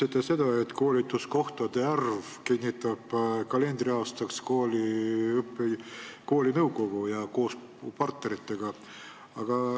Te ütlesite, et koolituskohtade arvu kinnitab kalendriaastaks kooli nõukogu koos partneritega.